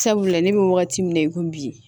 Sabula ne bɛ wagati min na i ko bi